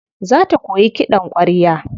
Za ta koyi kiɗan ƙwarya.